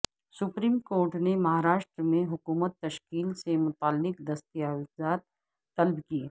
supreme court نے مہاراشٹر میں حکومت تشکیل سے متعلق دستاویزات طلب کئے